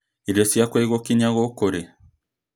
Irio ciakwa igũkinya gũkũ rĩ?